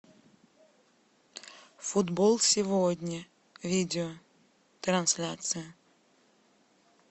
футбол сегодня видео трансляция